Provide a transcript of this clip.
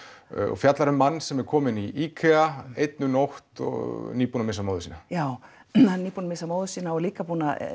og fjallar um mann sem er kominn í einn um nótt nýbúinn að missa móður sína já hann er nýbúinn að missa móður sína og líka